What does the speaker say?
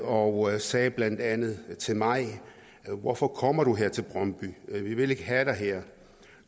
og sagde blandt andet til mig hvorfor kommer du her til brøndby vi vil ikke have dig her